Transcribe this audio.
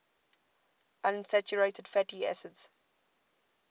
unsaturated fatty acids